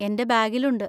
എൻ്റെ ബാഗിലുണ്ട്.